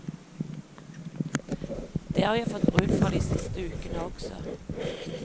Det har jeg fått bruk for de siste ukene også.